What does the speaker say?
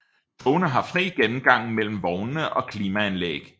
Togene har fri gennemgang mellem vognene og klimaanlæg